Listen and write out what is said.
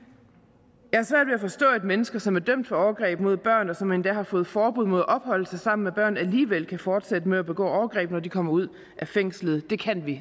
forstå at mennesker som er dømt for overgreb mod børn og som endda har fået forbud mod at opholde sig sammen med børn alligevel kan fortsætte med at begå overgreb når de kommer ud af fængslet det kan vi